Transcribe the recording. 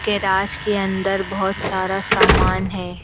Garage के अंदर बहोत सारा सामान है।